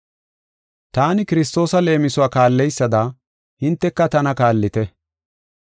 Taani Kiristoosa leemisuwa kaalleysada, hinteka tana kaallite.